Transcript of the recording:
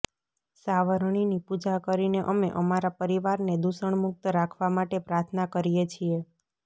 સાવરણીની પૂજા કરીને અમે અમારા પરિવારને દૂષણમુક્ત રાખવા માટે પ્રાર્થના કરીએ છીએ